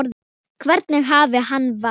Hvernig afi hann var.